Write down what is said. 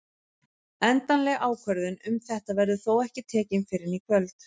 Endanleg ákvörðun um þetta verður þó ekki tekin fyrr en í kvöld.